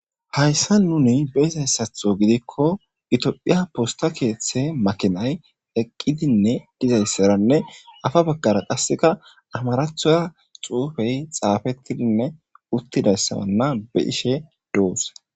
hayssa nuni beizayssatho gidikko itophiya posta keeththe makinay eqqidinne dizayssaranne afa baggara qasseka amarathoya xuufey xaafettidinne uttidayssabanna be ishe doos